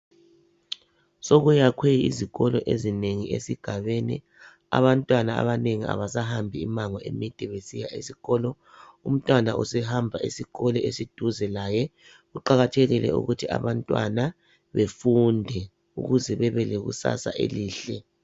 Sokuyakhwe izikolo ezinengi esigabeni abantwana abanengi abasahambi imango emide besiya esikolo umntwana usekwazi ukuhamba esikolo esiduze layo kuqakathekile ukuthi abantwana befunde ukuze bebe lekusasa elihle.